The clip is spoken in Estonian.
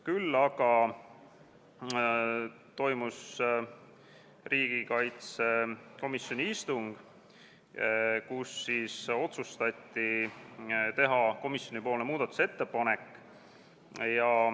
Küll aga toimus riigikaitsekomisjoni istung, kus otsustati teha komisjoni muudatusettepanek.